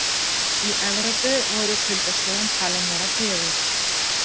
Í Evrópu voru kuldaskeiðin talin vera fjögur.